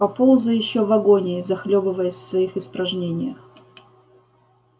поползай ещё в агонии захлёбываясь в своих испражнениях